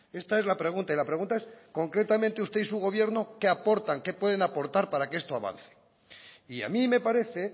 esta es la pregunta y la pregunta es concretamente usted y su gobierno qué aportan qué pueden aportar para que esto avance y a mí me parece